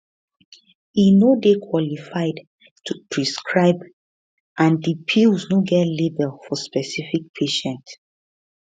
e no dey qualified to prescribe and di pills no get label for specific patient